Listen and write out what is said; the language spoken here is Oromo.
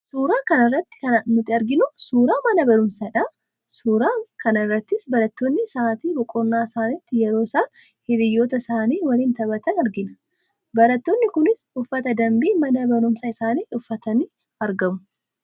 Suuraa kana irratti kan nuti arginu, suuraa mana barumsaadha. Suura kana irrattis barattoonni sa'aatii boqonnaa isaaniitti yeroo isaan hiriyyoota isaanii waliin taphatan argina. Barattoonni kunis uffata dambii mana barumsaa isaanii uffatanii argamu.